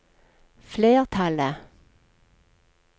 flertallet